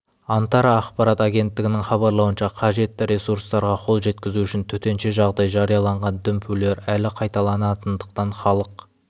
антара ақпарат агенттігінің хабарлауынша қажетті ресурстарға қол жеткізу үшін төтенше жағдай жарияланған дүмпулер әлі қайталанатындықтан халық